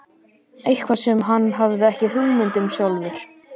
Eitthvað sem hann hafði ekki hugmynd um sjálfur.